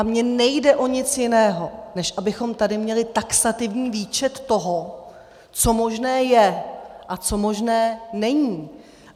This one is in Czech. A mně nejde o nic jiného, než abychom tady měli taxativní výčet toho, co možné je a co možné není.